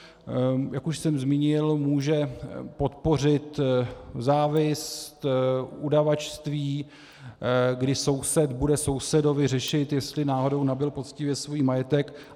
Jak už jsem zmínil, může podpořit závist, udavačství, kdy soused bude sousedovi řešit, jestli náhodou nabyl poctivě svůj majetek.